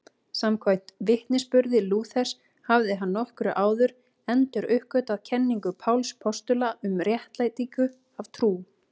Samkvæmt vitnisburði Lúthers hafði hann nokkru áður enduruppgötvað kenningu Páls postula um réttlætingu af trú.